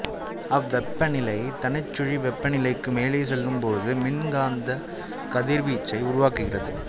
அவ்வெப்ப நிலை தனிச்சுழி வெப்பநிலைக்கு மேலே செல்லும் போது மின்காந்தக் கதிர்வீச்சை உருவாக்குகிறது